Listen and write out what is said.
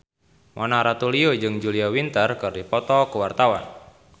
Mona Ratuliu jeung Julia Winter keur dipoto ku wartawan